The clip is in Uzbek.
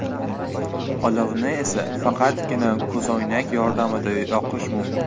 Olovni esa faqatgina ko‘zoynak yordamida yoqish mumkin.